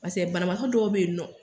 Paseke banabaatɔ dɔw bɛ yen nɔ.